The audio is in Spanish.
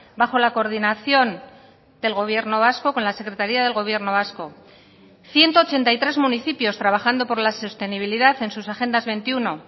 bajo la coordinación del gobierno vasco con la secretaría del gobierno vasco ciento ochenta y tres municipios trabajando por la sostenibilidad en sus agendas veintiuno